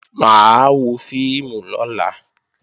Mà á wọ fíìmù lọ́la